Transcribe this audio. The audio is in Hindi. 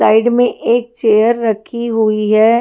साइड में एक चेयर रखी हुई है।